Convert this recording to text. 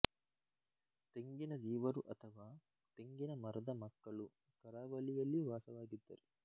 ತೆಂಗಿನ ದೀವರು ಅಥವಾ ತೆಂಗಿನ ಮರದ ಮಕ್ಕಳು ಕರಾವಳಿಯಲ್ಲಿ ವಾಸವಾಗಿದ್ದಾರೆ